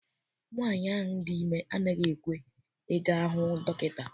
Nwaanyi ahụ dị ime anaghị ekwe I ga hụ dọkịta.